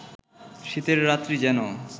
শীতের রাত্রি যেন